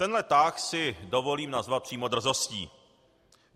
Tenhle tah si dovolím nazvat přímo drzostí.